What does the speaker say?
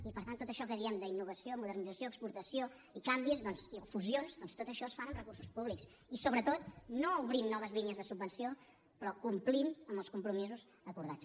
i per tant tot això que diem d’innovació modernització exportació i canvis i fusions doncs tot això es fa amb recursos públics i sobretot no obrint noves línies de subvenció però complint amb els compromisos acordats